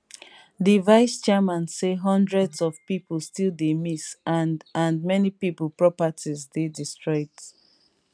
di vice chairman say hundreds of pipo still dey miss and and many pipo properties dey destroyed